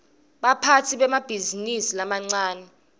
baphatsi bemabhizinisi lamancane